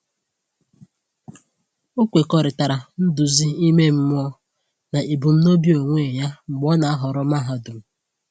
O kwekọrịta nduzi ime mmụọ na ebumnobi onwe ya mgbe o na-ahọrọ mahadum.